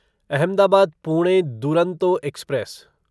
Ahmedabad Pune Duronto express